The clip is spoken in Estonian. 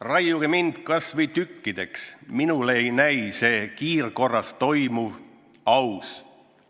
Raiuge mind kas või tükkideks, minule ei näi see kiirkorras toimuv aktsioon aus.